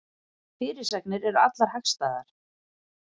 Fyrirsagnir eru allar hagstæðar